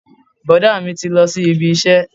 Bọ̀dá mi ti lọ sí ibi iṣẹ́